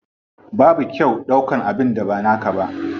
Babu kyau ɗaukan abin da ba naka ba.